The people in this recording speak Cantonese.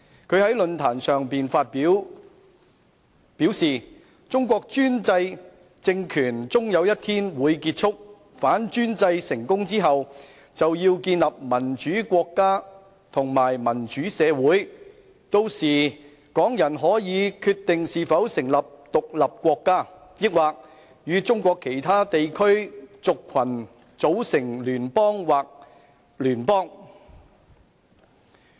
他在論壇上發言時表示，"中國專制政權終有一天會結束......反專制成功之後，就要建立民主國家和民主社會......那時候港人可以決定是否成立獨立國家，抑或與中國其他地區族群組成聯邦或邦聯"。